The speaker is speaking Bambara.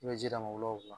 I bɛ ji d'a ma wula